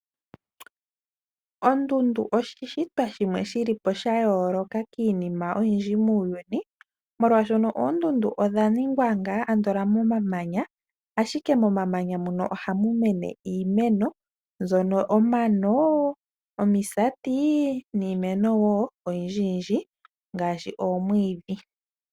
Ondundu oshishitwa shimwe shi li po sha yooloka kiinima oyindji muuyuni, nolwashoka oondundu odha ningwa ngaa andola momamanya, ashike momamanya mono ohamu mene iimeno, mbyono omano, omisati, niimeno wo oyindji yindji ngaashi oomwiidhi.